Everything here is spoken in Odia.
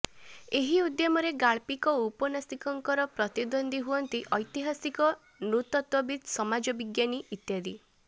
ଏହି ଉଦ୍ୟମରେ ଗାଳ୍ପିକ ଓ ଔପନ୍ୟାସିକଙ୍କର ପ୍ରତିଦ୍ୱନ୍ଦ୍ୱୀ ହୁଅନ୍ତି ଐତିହାସିକ ନୃତତ୍ତ୍ୱବିତ୍ ସମାଜ ବିଜ୍ଞାନୀ ଇତ୍ୟାଦି